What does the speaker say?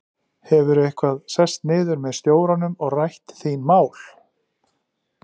Hefurðu eitthvað sest niður með stjóranum og rætt þín mál?